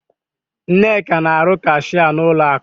Nneka na-arụ kashịa n'ụlọ akụ.